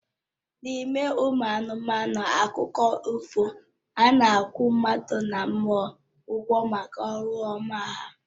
N'ime ụmụ anụmanụ akụkọ ifo, a na-akwụ mmadụ na mmụọ ụgwọ maka ọrụ ọma ha